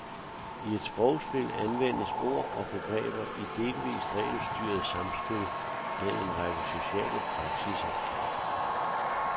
I et sprogspil anvendes ord og begreber i delvist regelstyret samspil med en række sociale praksisser.